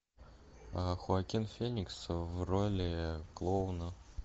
хоакин феникс в роли клоуна